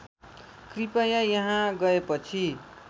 कृपया यहाँ गएपछि